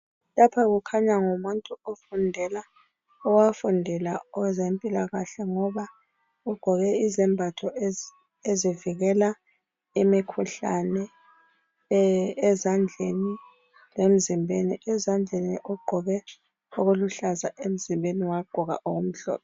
Lapha kukhanya ngumuntu ofundela owafundela okwezempilakahle ngoba ugqoke izembatho ezivikela imikhuhlane ezandleni lemzimbeni, ezandleni ugqoke okuluhlaza emzimbeni wagqoka okumhlophe.